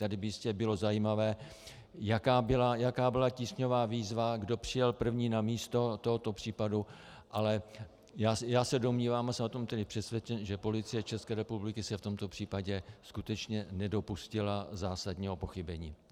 Tady by jistě bylo zajímavé, jaká byla tísňová výzva, kdo přijel první na místo tohoto případu, ale já se domnívám, a jsem o tom tedy přesvědčen, že Policie České republiky se v tomto případě skutečně nedopustila zásadního pochybení.